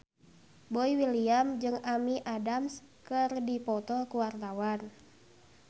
Boy William jeung Amy Adams keur dipoto ku wartawan